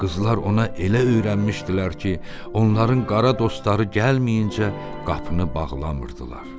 Qızlar ona elə öyrənmişdilər ki, onların qara dostları gəlməyincə qapını bağlamırdılar.